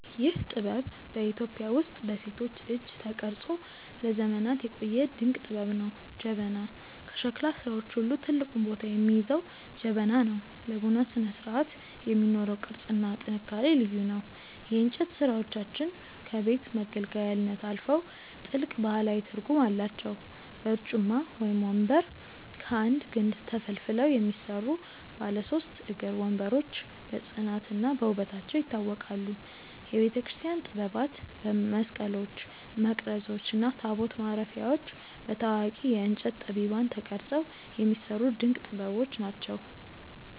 ይህ ጥበብ በኢትዮጵያ ውስጥ በሴቶች እጅ ተቀርጾ ለዘመናት የቆየ ድንቅ ጥበብ ነው። ጀበና፦ ከሸክላ ሥራዎች ሁሉ ትልቁን ቦታ የሚይዘው ጀበና ነው። ለቡና ስነስርዓት የሚኖረው ቅርጽና ጥንካሬ ልዩ ነው። የእንጨት ሥራዎቻችን ከቤት መገልገያነት አልፈው ጥልቅ ባህላዊ ትርጉም አላቸው። በርጩማ (ወንበር)፦ ከአንድ ግንድ ተፈልፍለው የሚሰሩ ባለ ሦስት እግር ወንበሮች በጽናትና በውበታቸው ይታወቃሉ። የቤተክርስቲያን ጥበባት፦ መስቀሎች፣ መቅረዞች እና ታቦት ማረፊያዎች በታዋቂ የእንጨት ጠቢባን ተቀርጸው የሚሰሩ ድንቅ ጥበቦች ናቸው።